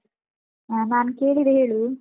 ಆ ನಾನು ಕೇಳಿದೆ ಹೇಳು.